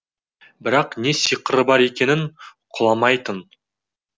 бірақ не сиқыры бар екенін құламайтын